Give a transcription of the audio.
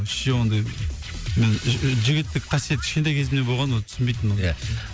вообще ондайды менің жігіттік қасиет кішкентай кезімде болған оны түсінбейтінмін оны ия